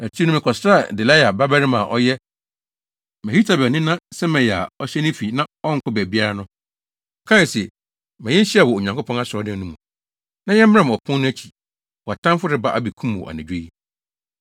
Akyiri no, mekɔsraa Delaia babarima a ɔyɛ Mehetabel nena Semaia a ɔhyɛ ne fi na ɔnkɔ baabiara no. Ɔkae se, “Ma yenhyia wɔ Onyankopɔn asɔredan no mu, na yɛmmram apon no akyi. Wʼatamfo reba abekum wo anadwo yi.”